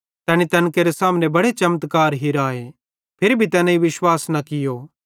तैनी तैन केरे सामने बड़े चमत्कार हिराए फिरी भी तैनेईं विश्वास न कियो